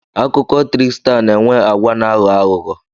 Akụkọ trịkstaa na-enwe agwa na-aghọ aghụghọ.